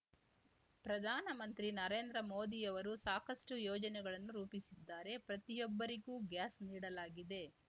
ಪ್ರಧಾನಮಂತ್ರಿ ನರೇಂದ್ರ ಮೋದಿಯವರು ಸಾಕಷ್ಟುಯೋಜನೆ ಗಳನ್ನು ರೂಪಿಸಿದ್ದಾರೆ ಪ್ರತಿಯೊಬ್ಬರಿಗೂ ಗ್ಯಾಸ್‌ ನೀಡಲಾಗಿದೆ